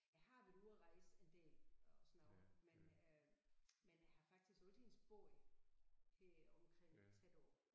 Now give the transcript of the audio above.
Jeg har været ude og rejse en del og sådan noget men øh men jeg har faktisk altid boet heromkring tæt på